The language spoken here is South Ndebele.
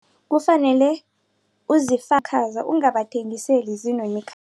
Kufanele ungabathengiseli